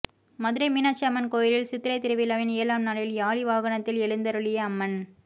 மதுரை மீனாட்சி அம்மன் கோயிலில் சித்திரை திருவிழாவின் ஏழாம் நாளில் யாளி வாகனத்தில் எழுந்தருளிய அம்மன்